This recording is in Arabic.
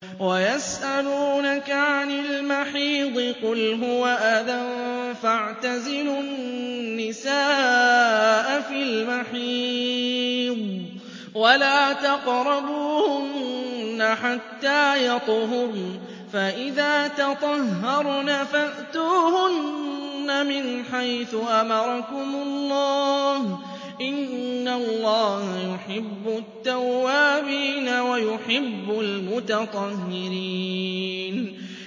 وَيَسْأَلُونَكَ عَنِ الْمَحِيضِ ۖ قُلْ هُوَ أَذًى فَاعْتَزِلُوا النِّسَاءَ فِي الْمَحِيضِ ۖ وَلَا تَقْرَبُوهُنَّ حَتَّىٰ يَطْهُرْنَ ۖ فَإِذَا تَطَهَّرْنَ فَأْتُوهُنَّ مِنْ حَيْثُ أَمَرَكُمُ اللَّهُ ۚ إِنَّ اللَّهَ يُحِبُّ التَّوَّابِينَ وَيُحِبُّ الْمُتَطَهِّرِينَ